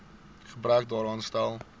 gebrek daaraan stel